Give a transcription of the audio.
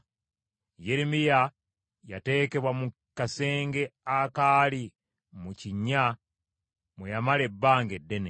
Yeremiya yateekebwa mu kasenge akaali mu kkomera mwe yamala ebbanga eddene.